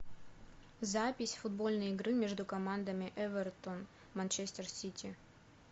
запись футбольной игры между командами эвертон манчестер сити